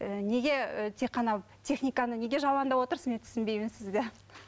ііі неге ііі тек қана техниканы неге жамандап отырсыз мен түсінбеймін сізді